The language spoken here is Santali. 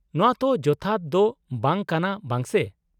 -ᱱᱚᱶᱟ ᱛᱚ ᱡᱚᱛᱷᱟᱛ ᱫᱚ ᱵᱟᱝ ᱠᱟᱱᱟ ᱵᱟᱝ ᱥᱮ ᱾